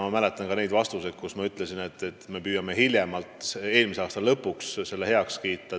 Ma mäletan ka oma vastuseid, kus ma andsin teada, et hiljemalt eelmise aasta lõpuks saab see heaks kiidetud.